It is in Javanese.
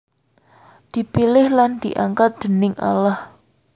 Dipilih lan diangkat déning Allah